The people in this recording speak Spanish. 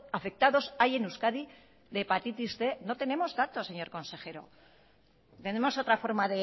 afectados hay en euskadi de hepatitis cien no tenemos datos señor consejero tenemos otra forma